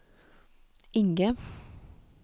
Inge